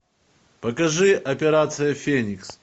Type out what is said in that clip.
покажи операция феникс